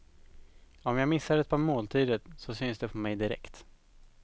Om jag missar ett par måltider så syns det på mig direkt.